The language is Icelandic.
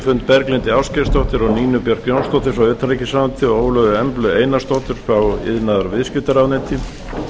fund berglindi ásgeirsdóttur og nínu björk jónsdóttur frá utanríkisráðuneyti og ólöfu emblu einarsdóttur frá iðnaðar og viðskiptaráðuneyti tillagan var sent